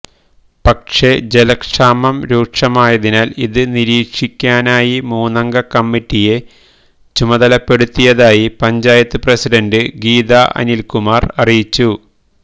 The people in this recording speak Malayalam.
പക്ഷേ ജലക്ഷാമം രൂക്ഷമായതിനാല് ഇത് നീരിക്ഷിക്കാനായി മൂന്നംഗകമ്മിറ്റിയെ ചുമതലപ്പെടുത്തിയതായി പഞ്ചായത്ത് പ്രസിഡന്റ് ഗീതാഅനില്കുമാര് അറിയിച്ചു